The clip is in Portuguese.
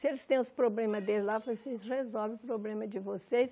Se eles têm os problemas deles lá, vocês resolvem os problemas de vocês.